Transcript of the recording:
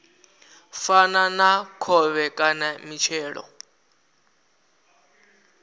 fana na khovhe kana mitshelo